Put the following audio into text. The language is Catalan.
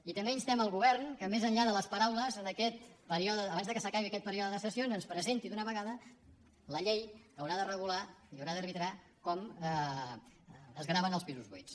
i també instem el govern que més enllà de les paraules abans que s’acabi aquest període de sessions ens presenti d’una vegada la llei que haurà de regular i haurà d’arbitrar com es graven els pisos buits